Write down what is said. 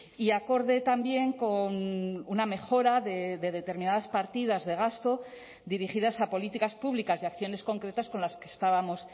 y acorde también con una mejora de determinadas partidas de gasto dirigidas a políticas públicas y acciones concretas con las que estábamos